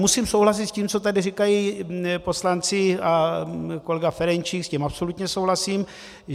Musím souhlasit s tím, co tady říkají poslanci a kolega Ferjenčík, s tím absolutně souhlasím.